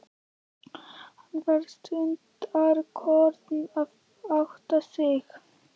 Hann var stundarkorn að átta sig.